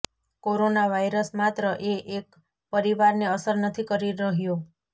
corona virus માત્ર એ એક પરિવારને અસર નથી કરી રહ્યો